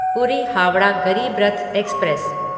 पूरी हावड़ा गरीब रथ एक्सप्रेस